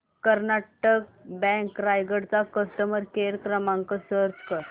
Karnataka bank Raigad चा customer care क्रमांक search कर